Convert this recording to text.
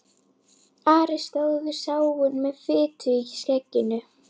Ari stóð við sáinn með fitu í skegginu.